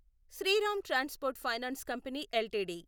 Sriram transport finance company LTD